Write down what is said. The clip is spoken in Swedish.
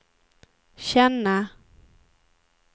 känna